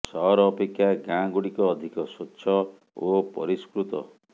ସହର ଅପେକ୍ଷା ଗାଁ ଗୁଡିକ ଅଧିକ ସ୍ୱଛ ଓ ପରିଷ୍କୃତ